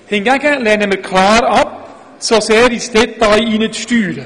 Hingegen lehnen wir klar ab, so sehr ins Detail hineinzusteuern.